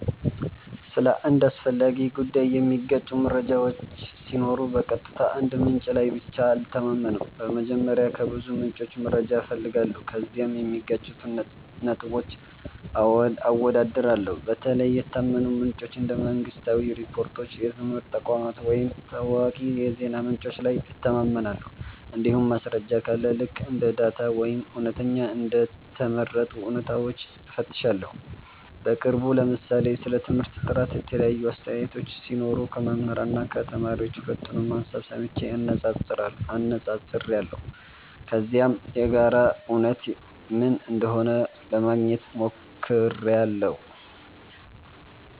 ስለ አንድ አስፈላጊ ጉዳይ የሚጋጩ መረጃዎች ሲኖሩ በቀጥታ አንድ ምንጭ ላይ ብቻ አልተማመንም። በመጀመሪያ ከብዙ ምንጮች መረጃ እፈልጋለሁ፣ ከዚያም የሚጋጩትን ነጥቦች አወዳድራለሁ። በተለይ የታመኑ ምንጮች እንደ መንግሥታዊ ሪፖርቶች፣ የትምህርት ተቋማት ወይም ታዋቂ የዜና ምንጮች ላይ እተማመናለሁ። እንዲሁም ማስረጃ ካለ ልክ እንደ ዳታ ወይም እውነተኛ እንደ ተመረጡ እውነታዎች እፈትሻለሁ። በቅርቡ ለምሳሌ ስለ ትምህርት ጥራት የተለያዩ አስተያየቶች ሲኖሩ ከመምህራን እና ከተማሪዎች ሁለቱንም ሀሳብ ሰምቼ አነፃፅራለሁ። ከዚያም የጋራ እውነት ምን እንደሆነ ለማግኘት ሞክራለሁ።